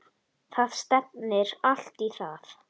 Það stefnir allt í það.